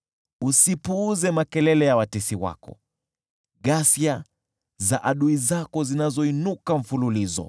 Usipuuze makelele ya watesi wako, ghasia za adui zako, zinazoinuka mfululizo.